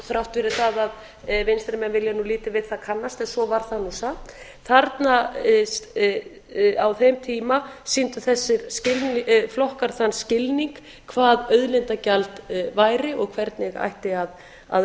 þrátt fyrir það að vinstri menn vilji nú lítið við það kannast en svo var það nú samt þarna á þeim tíma sýndu þessir flokkar þann skilning hvað auðlindagjald væri og hvernig ætti að